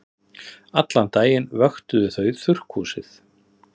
Allan daginn vöktuðu þau þurrkhúsið.